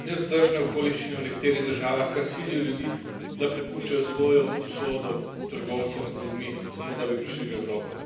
Nevzdržne okoliščine v nekaterih državah kar silijo ljudi, da prepuščajo svojo usodo trgovcem z ljudmi, samo da bi prišli v Evropo.